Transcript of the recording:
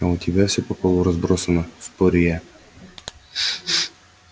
а у тебя все по полу разбросано спорю я